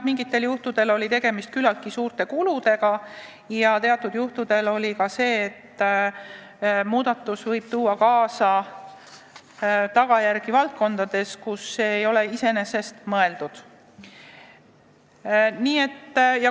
Mingitel juhtudel oli tegemist küllaltki suurte kuludega ja teatud juhtudel oli mure, et muudatus võib kaasa tuua tagajärgi valdkondades, kus seda pole iseenesest mõeldud.